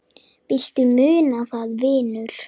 Viltu muna það, vinur?